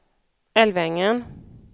Älvängen